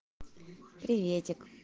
приветик